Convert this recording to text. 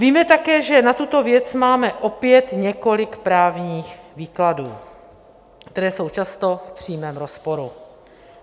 Víme také, že na tuto věc máme opět několik právních výkladů, které jsou často v přímém rozporu.